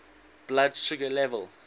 blood sugar level